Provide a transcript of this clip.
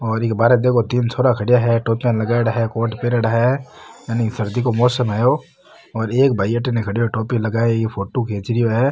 और इ के बारे देखो तीन छोरा खड़ा है टोपियां लगायेड़ा है कोट पैरेडा है सर्दी को मौसम है यो एक भाई अतिने खड़ो है टोपी लगाया फोटो खींच रहो है।